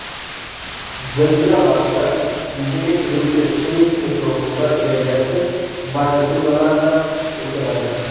Zilzila vaqtida yuzaga keluvchi seysmik to‘lqinlar energiyasi magnitudalarda o‘lchanadi.